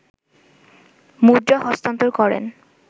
মুদ্রা হস্তান্তর করেন